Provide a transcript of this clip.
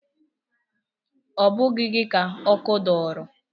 Ọ bụghị gị ka ọkụ dọrọ?